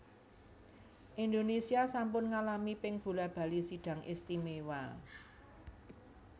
Indonésia sampun ngalami ping bola bali Sidang Istimewa